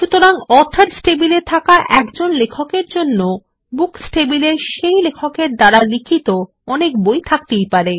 সুতরাং অথর্স টেবিলে থাকা একজন লেখক এর জন্য বুকস টেবিলে সেই লেখক এর দ্বারা লিখিত অনেক বই আছে থাকতেই পারে